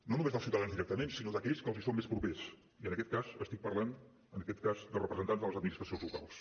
no només dels ciutadans directament sinó d’aquells que els són més propers i en aquest cas estic parlant de representants de les administracions locals